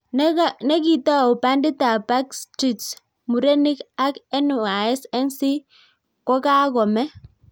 Nekitau pandit ap backstreets murenik ak NSY nc kakomeee